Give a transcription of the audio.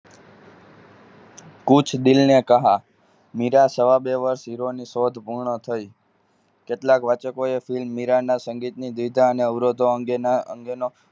કુછ દિલને કહા મેરા સવા બે વર્ષ Heroine ની શોધ પૂર્ણ થઈ કેટલાક વાચકોએ film દિજાના સંગીતની મુશ્કેલીઓ અને અવરોધ અંગેના